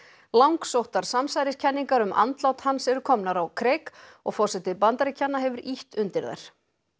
langsóttar samsæriskenningar um andlát hans eru komnar á kreik og forseti Bandaríkjanna hefur ýtt undir þær